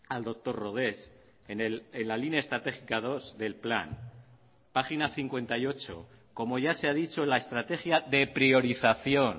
al doctor rodés en la línea estratégica dos del plan página cincuenta y ocho como ya se ha dicho en la estrategia de priorización